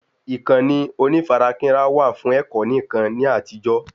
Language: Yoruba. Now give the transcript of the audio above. Ìkànnì onífarakínra wà fún ẹ̀kọ́ nìkan ni àtijó